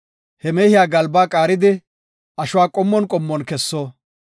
He mehiya galbaa qaaridi, ashuwa qommon qommon kesso.